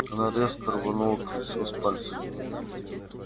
она резко рванула кольцо с пальца